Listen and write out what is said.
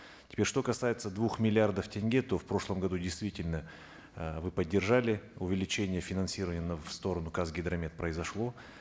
теперь что касается двух миллиардов тенге то в прошлом году действительно э вы поддержали увеличение финансирования на в сторону казгидромет произошло